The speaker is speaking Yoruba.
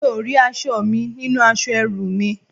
Mi ò rí aṣọ mi nínú aṣọ ẹrú mi